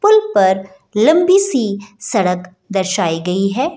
पुल पर लम्बी सी सड़क दर्शायी गई है।